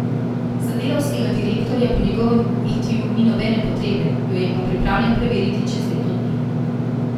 Za delavskega direktorja po njegovem v Etiju ni nobene potrebe, jo je pa pripravljen preveriti čez leto dni.